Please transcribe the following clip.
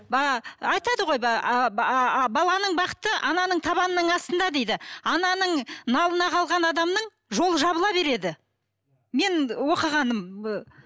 айтады ғой баланың бақыты ананың табанының астында дейді ананың налына қалған адамның жолы жабыла береді менің оқығаным